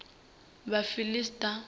vhafiḽista